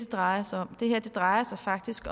drejer sig om det her drejer sig faktisk